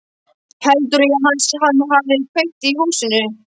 Heldurðu að hans menn hafi kveikt í húsinu?